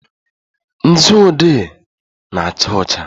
nzu odee na-acha ọcha.